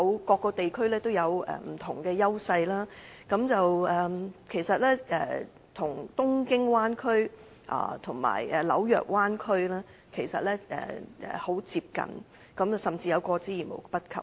各個地區有着不同的優勢，其實大灣區與東京灣區及紐約灣區很接近，甚至有過之而無不及。